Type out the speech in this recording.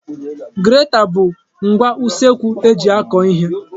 Greta bụ ngwa usekwu eji akwọ ihe.